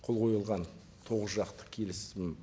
қол қойылған тоғыз жақты келісім